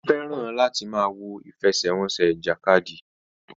Ó fẹ́ràn láti máa wo ìfẹsẹ̀wọnsẹ̀ ìjàkadì.